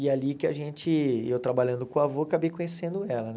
E ali que a gente, eu trabalhando com o avô, acabei conhecendo ela, né?